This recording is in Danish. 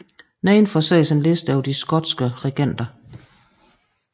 Nedenfor ses en liste over de skotske regenter